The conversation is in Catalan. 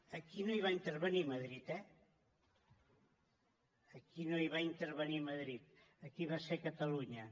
aquí no hi va intervenir madrid eh aquí no hi va intervenir madrid aquí va ser catalunya